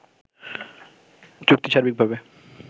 চুক্তি সার্বিকভাবে